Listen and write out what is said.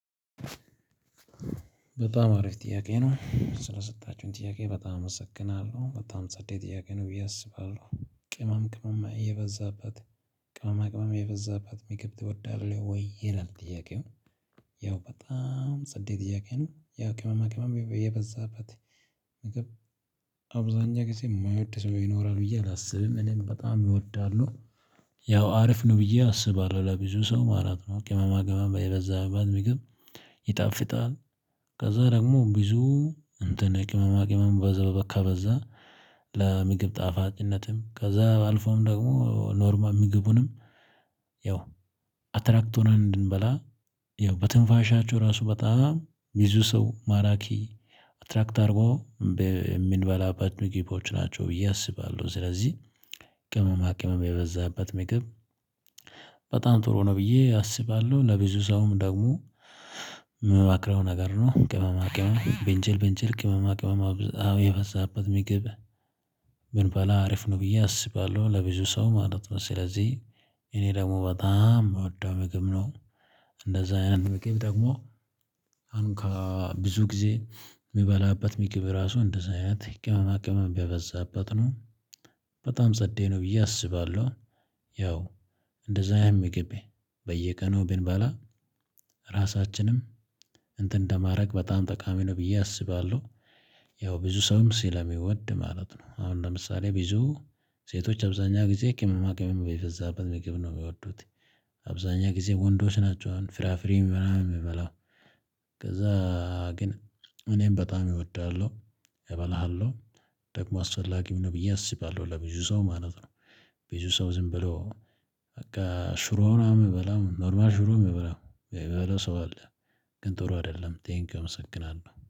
በጣም አሪፍ ጥያቄ ነው ስለሰጣችሁኝ ጥያቄ በጣም አመሰግናለሁ በጣም ጸዴ ጥያቄ ነው ብዬ አስባለሁ ቅመም ቅመም የበዛባት ቅመማ ቅመም የበዛባት ምግብ ትወዳለህ ወይ ይላል ጥያቄው። ያው በጣም ጸዴ ጥያቄ ነው ያው ቅመማ ቅመም የበዛበት አብዛኛ ጊዜ የማይወድ ሰው ይኖራል ብዬ አላስብም። እኔም በጣም እወዳለው። ያው አሪፍ ነው ብዬ አስባለሁ ለብዙ ሰው ማለት ነው ቅመማ ቅመም የበዛበት ምግብ ይጣፍጣል። ከዛ ደግሞ ብዙ እንትን ቅመማ ቅመም በዛ ከበዛ ለምግብ ጣፋጭነትም ከዛ አልፎም ደግሞ ኖርማል ምግቡንም ያው አትራክት ሆነን እንድንበላ ያው በትንፋሻቸው ራሱ በጣም ብዙ ሰው ማራኪ አትራክት አድርጎ የምንበላበት ምግቦች ናቸው። ብዬ አስባለሁ ስለዚህ ቅመማ ቅመም የበዛበት ምግብ። በጣም ጥሩ ነው ብዬ አስባለሁ ለብዙ ሰውም ደግሞ የምመክረው ነገር ነው። ቅመማ ቅመም ብንችል ብንችል ቅመማ ቅመማ የበዛበት ምግብ። ብንበላ አሪፍ ነው ብዬ አስባለሁ ለብዙ ሰው ማለት ነው ስለዚህ እኔ ደግሞ በጣም የምወደው ምግብ ነው። እንደዛ አይነት ምግብ ደግሞ አሁን ከብዙ ጊዜ የምበላበት ምግብ ራሱ እንደዚህ አይነት ቅመማ ቅመም ቢያበዛበት ነው። በጣም ጸዴ ነው ብዬ አስባለሁ። ያው እንደዛ አይነት ምግብ በየቀኑ ብንበላ ራሳችንም እንትን እንደማድረግ በጣም ጠቃሚ ነው ብዬ አስባለሁ። ያው ብዙ ሰውም ስለሚወድ ማለት ነው አሁን ለምሳሌ ብዙ ሴቶች አብዛኛ ጊዜ ቅመማ ቅመም የበዛበት ምግብ ነው የሚወዱት። አብዛኛዉን ጊዜ ወንዶች ናቸው አሁን ፍራፍሬ ምናምን የሚበላ። ከዛ ግን እኔም በጣም እወዳለሁ። እበላለው ደግሞ አስፈላጊ ነው ብዬ አስባለሁ ለብዙ ሰው ማለት ነው። ብዙ ሰው ዝም ብሎ በቃ ሽሮ ነው የምበላው ኖርማል ሽሮ የምበላው የሚበላ ሰው አለ። ግን ጥሩ አይደለም ቴንኪው አመሰግናለሁ